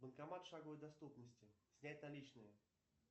банкомат в шаговой доступности снять наличные